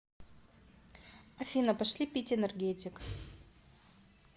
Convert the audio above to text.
афина пошли пить энергетик